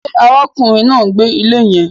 Ṣe ará kùnrin náà ń gbé ilé yẹn